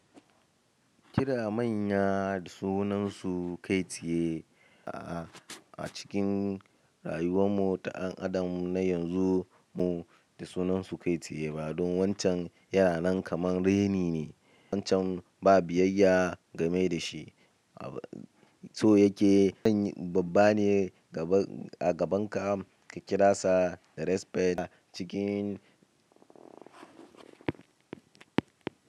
Kira manya da sunansu kai tsaye. A'a, a cikin rayuwar mu ta ɗan adam na yanzu mu da sunansu kai tsaye ba don wancan yana nan kamar raini ne. Wancan ba biyayya game da shi. So yake zan babba ne a gaban ka ka kira sa da respect a cikin.